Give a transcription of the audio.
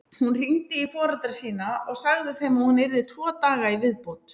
Hún hringdi í foreldra sína og sagði þeim að hún yrði tvo daga í viðbót.